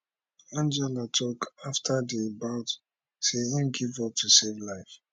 angela tok afta di bout say im give up to save my life